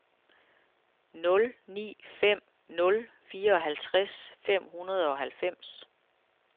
nul ni fem nul fireoghalvtreds fem hundrede og halvfems